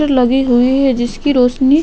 जो लगी हुई है जिसकी रौशनी --